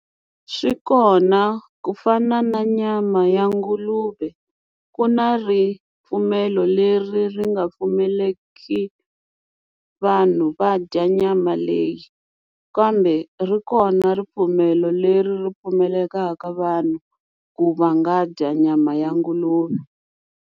Swi kona ku fana na nyama ya nguluve ku na ripfumelo leri ri nga pfumeleki vanhu va dya nyama leyi kambe ri kona ripfumelo leri ri pfumelekaka vanhu ku va nga dya nyama ya nguluve.